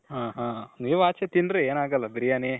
ಹಾ ಹಾ ನೀವು ಆಚೆ ತಿನ್ರಿ ಏನಾಗಲ್ಲ ಬಿರಿಯಾನಿ